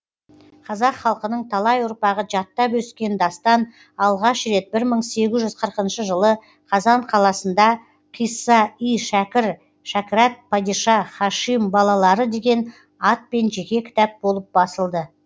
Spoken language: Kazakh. қазақ халқының талай ұрпағы жаттап өскен дастан алғаш рет мың сегіз жүз қырық жылы қазан қаласында қисса и шәкір шәкірат падиша һашим балалары деген атпен жеке кітап болып басылды